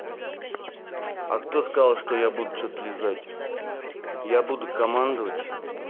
а кто сказал что я буду что-то лизать я буду командовать